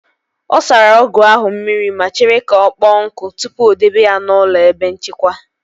Ọ sara ọgụ ahụ mmiri ma chere ka ọkpọ nkụ tupu o dobe ya n'ụlọ ebe nchekwa